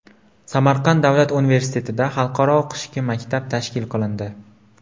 Samarqand davlat universitetida Xalqaro qishki maktab tashkil qilindi.